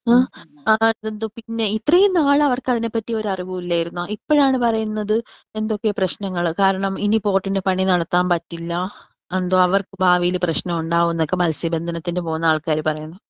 ആ അതെന്ത് പിന്നെ ഇത്രേം നാൾ അവർക്ക് അതിനെ പറ്റി ഒരു അറിവും ഇല്ലെർന്നോ? ഇപ്പഴാണ് പറയുന്നത് എന്തൊക്കെ പ്രേശ്നങ്ങൾ കാരണം ഇനി ബോട്ട് ന്റെ പണി നടത്താൻ പറ്റില്ല എന്തോ അവർക്ക് ഭാവിയിൽ പ്രശ്നം ഉണ്ടാവുമെന്നൊക്കെ മത്സ്യ ബന്ധനത്തിന് പോവുന്ന ആള്‍ക്കാര് പറയുന്നു.